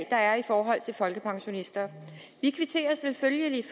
er i forhold til folkepensionister vi kvitterer selvfølgelig